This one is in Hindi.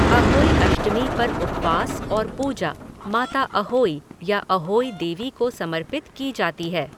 अहोई अष्टमी पर उपवास और पूजा माता अहोई या अहोई देवी को समर्पित की जाती है।